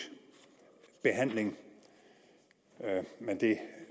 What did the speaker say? behandling men det